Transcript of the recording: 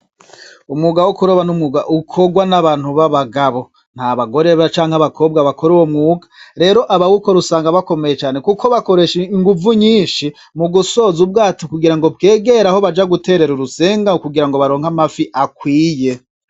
Umwuga wo kuroba n'umwuga ukogwa n'abantu b'abagabo, nta bagore canke abakobwa bakora uwo mwuga, rero abawukora usanga bakomeye cane kuko bakoresha inguvu nyinshi mu gusoza ubwato kugira ngo bwegere aho baja guterera urusenga kugira ngo baronke amafi akwiye.